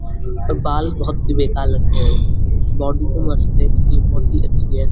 बाल बहुत ही बेकार लगते है बॉडी तो मस्त है इसकी बहुत ही अच्छी है।